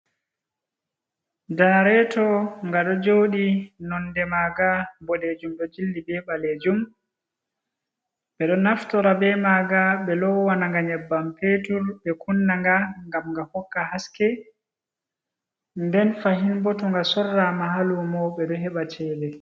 Ganareto ga do jodi nonde maga bodejum do jilli be balejum, be do naftora be maga be lowana ga nyebbam petul be kunnaga gam ga hokka haske nden fahin boto ga sorrama halumo be do heba chede.